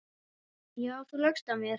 Já, þú laugst að mér.